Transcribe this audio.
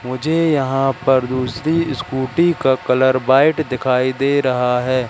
मुझे यहां पर दूसरी स्कूटी का कलर व्हाइट दिखाई दे रहा है।